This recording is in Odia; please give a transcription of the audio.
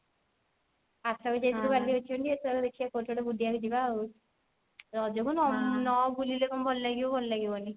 ଆରଥର ଯାଇଥିଲୁ ଏଥର ଦେଖିବା କଉଠି ଗୋଟେ ବୁଲିବା ଆଉ ରଜ କୁ ନ ନ ବୁଲିଲେ କଣ ଭଲ ଲାଗିବ ଭଲ ଲାଗିବନି